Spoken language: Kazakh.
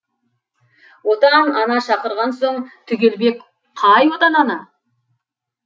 отан ана шақырған соң түгелбек қай отан ана